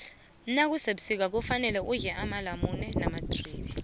nakusebusika kufane udle amalamula namadribe